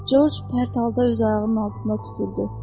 Corc pərt halda öz ayağının altında tupurdu.